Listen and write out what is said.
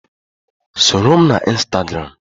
Soro m na Instagram!